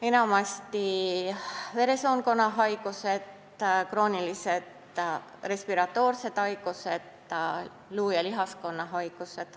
Enamasti on need veresoonkonna haigused, kroonilised respiratoorsed haigused, luu- ja lihaskonna haigused.